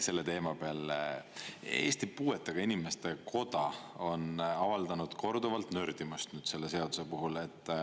Selle teema peale Eesti Puuetega Inimeste Koda on avaldanud korduvalt nördimust selle seaduse puhul.